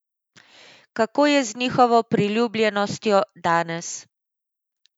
Kako je z njihovo priljubljenostjo danes?